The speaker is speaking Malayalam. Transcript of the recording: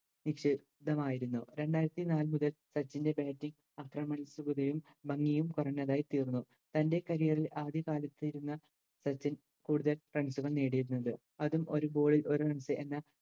മായിരുന്നു രണ്ടായിരത്തിനാല് മുതൽ സച്ചിൻറെ Batting അത്രയും വരുകയും ഭംഗിയും കുറഞ്ഞതായി തീർന്നു തൻറെ Career ഇൽ ആദ്യ കാലത്തിരുന്ന സച്ചിൻ കൂടുതൽ Runs കൾ നേടിയിരുന്നത് അതും ഒര് Ball ഇൽ ഒര് Runs എന്ന